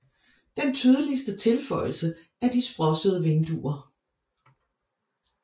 Den tydeligste tilføjelse er de sprossede vinduer